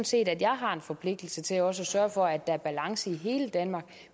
set at jeg har en forpligtelse til også at sørge for at der er balance i hele danmark